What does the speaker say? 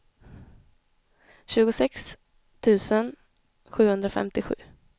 tjugosex tusen sjuhundrafemtiosju